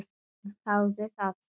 Jón þáði það.